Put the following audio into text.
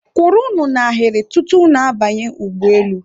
kwụrụnụ n'ahịrị tutu unu banye ụgbọelu!